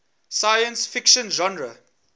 science fiction genre